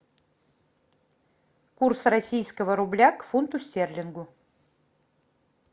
курс российского рубля к фунту стерлингу